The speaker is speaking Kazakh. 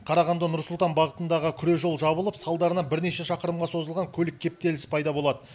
қарағанды нұр сұлтан бағытындағы күре жол жабылып салдарынан бірнеше шақырымға созылған көлік кептелісі пайда болады